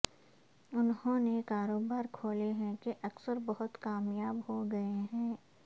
انہوں نے کاروبار کھولے ہیں کہ اکثر بہت کامیاب ہو گئے ہیں